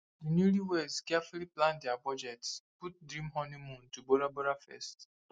di newlyweds carefully plan dia budget put dream honeymoon to bora bora first